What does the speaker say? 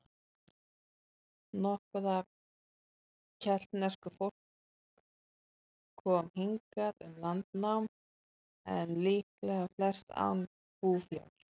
Nokkuð af keltnesku fólk kom hingað um landnám, en líklega flest án búfjár.